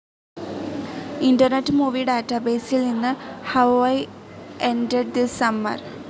internet movie ഡാറ്റാബേസിൽ നിന്ന് how I ended this summer